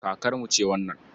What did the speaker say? Kakarmu ce wannan.